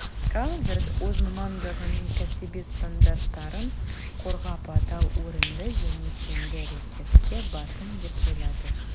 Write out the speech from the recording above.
калверт өз мамандығының кәсіби стандарттарын қорғап адал орынды және тиімді әрекетке бардым деп ойлады